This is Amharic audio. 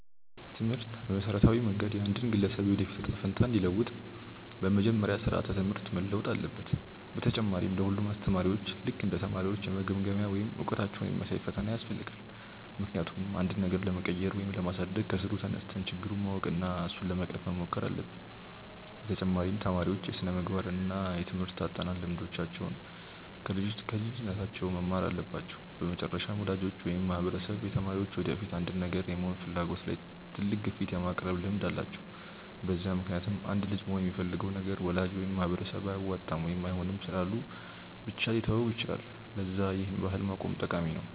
ትምህርት በመሠረታዊ መንገድ የአንድን ግለሰብ የወደፊት እጣ ፈንታ እንዲለውጥ፤ በመጀመሪያ ስራዓተ ትምህርት መለወጥ አለበት፣ በተጨማሪ ለ ሁሉም አስተማሪዎች ልክ እንደ ተማሪዎች የመገምገሚያ ወይም እውቀታቸውን የሚያሳይ ፈተና ያስፈልጋል፤ ምክንያቱም አንድን ነገር ለመቀየር ወይም ለማሳደግ ከስሩ ተነስተን ችግሩን ማወቅ እና እሱን ለመቅረፍ መሞከር አለብን፤ በተጨማሪ ተማሪዎች የስነምግባር እና የትምርህት አጠናን ልምዶችን ከልጅነታቸው መማር አለባቸው፤ በመጨረሻም ወላጆች ወይም ማህበረሰብ የተማሪዎች የወደፊት አንድን ነገር የመሆን ፍላጎት ላይ ትልቅ ግፊት የማቅረብ ልምድ አላቸው፤ በዛ ምክንያትም አንድ ልጅ መሆን የሚፈልገውን ነገር ወላጅ ወይም ማህበረሰብ አያዋጣም ወይም አይሆንም ስላሉ ብቻ ሊተወው ይችላል፤ ለዛ ይህን ባህል ማቆም ጠቃሚ ነው።